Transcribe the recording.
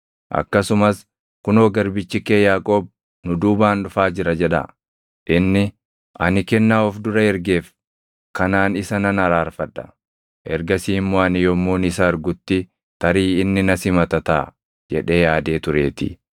Akkasumas, ‘Kunoo garbichi kee Yaaqoob nu duubaan dhufaa jira’ jedhaa.” Inni, “Ani kennaa of dura ergeef kanaan isa nan araarfadha; ergasii immoo ani yommuun isa argutti tarii inni na simata taʼa” jedhee yaadee tureetii.